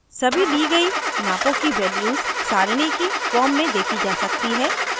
सभी ली गयी नापों की values सारणी की form में देखी जा सकती हैं